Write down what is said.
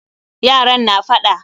Yaran na faɗa